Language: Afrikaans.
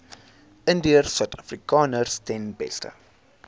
indiërsuidafrikaners ten beste